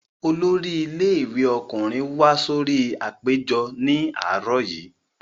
Olórí ilé ẹ̀kọ́ ọkùnrin wá sórí apèjọ ní àárọ̀ yìí